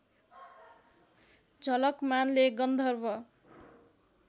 झलकमानले गन्धर्व